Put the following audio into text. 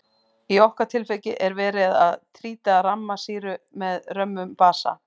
Í okkar tilviki er verið að títra ramma sýru með römmum basa.